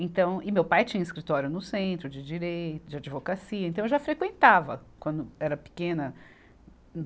Então, e meu pai tinha um escritório no centro, de direito, de advocacia, então eu já frequentava quando era pequena.